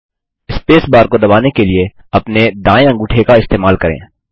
space bar को दबाने के लिए अपना दायें अंगूठे का इस्तेमाल करें